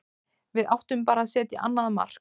Við áttum bara að setja annað mark.